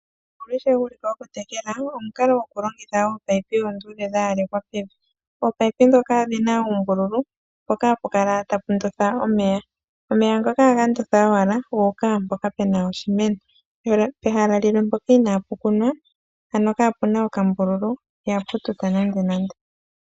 Omukalo gokutekela omukalo gokulongitha ominino omiluudhe dha yalekwa pevi. Ominino ndhoka odhi na oombululu mpoka ha pu kala ta pu ndotha omeya. Omeya ngoka ohaga ndotha owala gu uka mpoka pu na oshimeno. Pehala mpoka inaa pu kunwa ano ka pu na okambululu ihapu tuta nandenande.